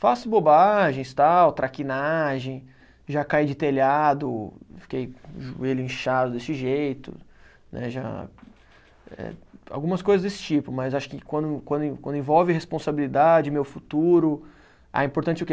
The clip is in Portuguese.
Faço bobagens, tal, traquinagem, já caí de telhado, fiquei com o joelho inchado desse jeito, né, já, eh, algumas coisas desse tipo, mas acho que quando quando en quando envolve responsabilidade, meu futuro, ah, importante o quê?